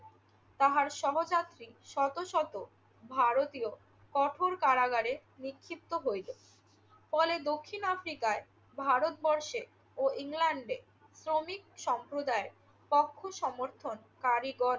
তাহার সহযাত্রী শত শত ভারতীয় কঠোর কারাগারে নিক্ষিপ্ত হইল। ফলে দক্ষিণ আফ্রিকায় ভারতবর্ষে ও ইংল্যান্ডে শ্রমিক সম্প্রদায় কঠোর সমর্থনকারীগণ